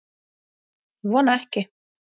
Ég vona ekki